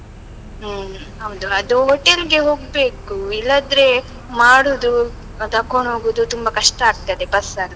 ಹ್ಮ್ ಹೌದು. ಅದು hotel ಗೆ ಹೋಗ್ಬೇಕು, ಇಲ್ಲದ್ರೆ ಮಾಡುದು, ಆ ತಕೊಂಡು ಹೋಗುದು, ತುಂಬ ಕಷ್ಟ ಆಗ್ತದೆ bus ಅಲ್ಲಿ.